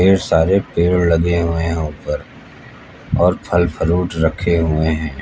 ढेर सारे पेड़ लगे हुए हैं ऊपर और फल फरूट रखे हुए हैं।